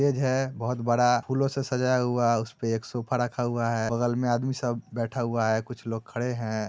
Stage है बहुत बड़ा फूलों से सजाया हुआ उसपे एक सोफा रखा हुआ है बगल में आदमी सब बैठा हुआ है कुछ लोग खड़े है।